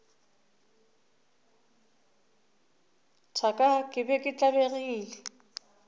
thaka ke be ke tlabegile